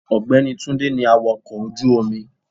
Ògbẹ́ni Túndé ní awàkọ̀ ojú omi.